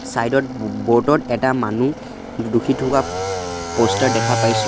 Side ত ব ব'ৰ্ডত এটা মানুহ ডো ডোখি থোকা প'ষ্টাৰ দেখা পাইছোঁ।